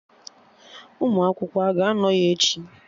Ụmụ akwụkwọ a ga-anọ ya echi?